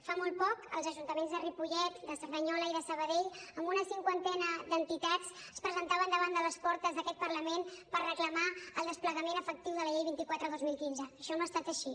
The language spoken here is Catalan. fa molt poc els ajuntaments de ripollet de cerdanyola i de sabadell amb una cinquantena d’entitats es presentaven davant de les portes d’aquest parlament per reclamar el desplegament efectiu de la llei vint quatre dos mil quinze això no ha estat així